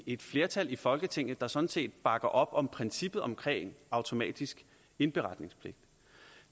et flertal i folketinget der sådan set bakker op om princippet om automatisk indberetningspligt